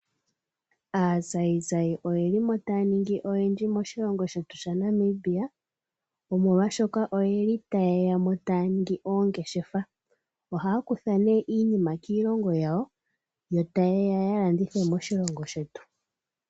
Aazayizayi oyeli mo taya ningi oyendji moshilongo shetu shaNamibia, molwaashoka oyeli tayeyamo taya ningi oongeshefa. Ohaya kutha nee iinima kiilongo yawo, yo tayeya ya landithe moshilongo shetu.